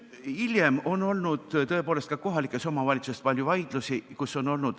Hiljem on olnud tõepoolest ka kohalikes omavalitsustes palju vaidlusi.